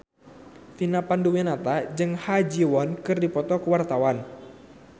Vina Panduwinata jeung Ha Ji Won keur dipoto ku wartawan